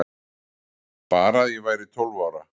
Bara að ég væri tólf ára.